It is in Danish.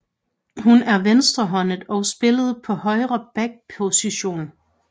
Hun er venstrehåndet og spillede på højre back position